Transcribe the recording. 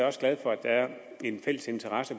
også glad for at der er en fælles interesse